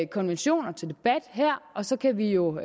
konventioner til debat her og så kan vi jo